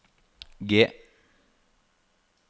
G